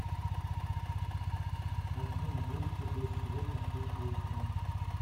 афина будет ли дождь сегодня в шесть вечера